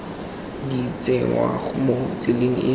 di tsenngwa mo tseleng e